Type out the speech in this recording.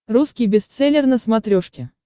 русский бестселлер на смотрешке